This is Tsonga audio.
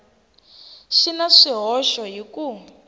xi na swihoxo hi ku